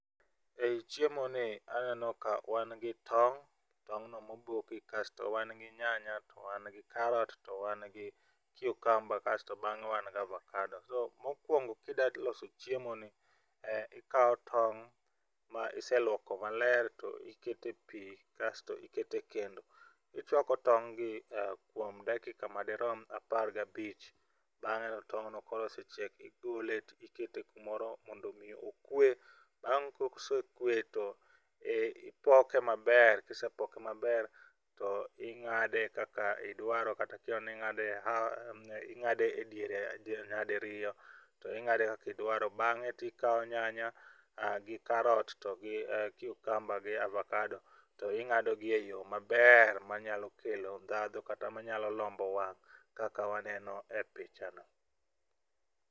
Ei chiemo ni aneno ka wan gi tong', tong' no moboki kasto wan gi nyanya to wan gi karot to wan gi cucumber kasto bang'e wan gi abakado. To mokwongo kida loso chiemo ni ikawo tong' ma iseluoko maler to ikete pii kasto ikete kendo ichwako tong' gi kuom dakika madirom apar gabich. Bang'e to tong'no koro osechiek igole to ikete kumoro kondo mi okwe .Bang' kosekwe to i ipoke maber kisepoke maber to ing'ade kaka idwaro kata kihero ning'ade half ing'ade e diere nadiriyo to ing'ade kakidwaro bang'e to ikawo nyanya to gi karot to gi cucumber to gi abakado to ing'ago gi eyoo maber manyalo kelo ndhadhu kata manyalo lombo wang' kaka wanene picha no.